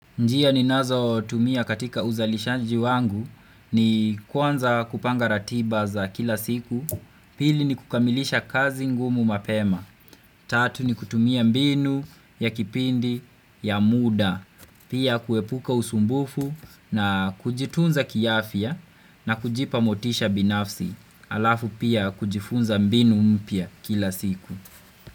Njia ninazotumia katika uzalishaji wangu ni kwanza kupanga ratiba za kila siku, pili ni kukamilisha kazi ngumu mapema, tatu ni kutumia mbinu ya kipindi ya muda, pia kuepuka usumbufu na kujitunza kiafia na kujipa motisha binafsi, alafu pia kujifunza mbinu mpya kila siku.